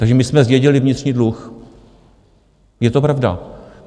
Takže my jsme zdědili vnitřní dluh, je to pravda.